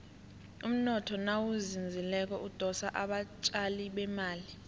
umnotho nawuzinzileko udosa abatjali bemali